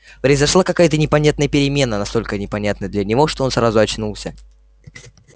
произошла какая то непонятная перемена настолько непонятная для него что он сразу очнулся